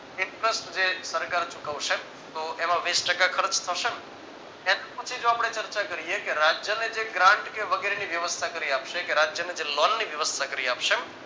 inters જે સરકાર ચુકવશે તો એમાં વિસ ટકા ખર્ચ થશે ને એની પછી જો આપણા ચર્ચ કરીયે કે રાજ્યને જે grant વગેરે ની વ્યવસ્થા કરી આપશે કે રાજ્યને જે લોન ની વ્યવસ્થા કરી આપશે